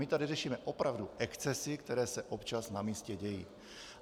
My tady řešíme opravdu excesy, které se občas na místě dějí.